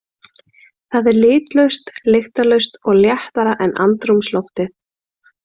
Það er litlaust, lyktarlaust og léttara en andrúmsloftið.